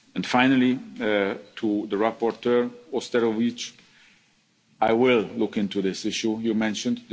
the years to come. Finally, to the rapporteur, Mr Auštrevičius, I will look into this